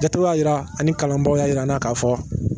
Jate y'a jira ani kalanbaaw y'a jir'an na k'a fɔ